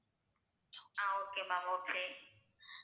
ah okay ma'am okay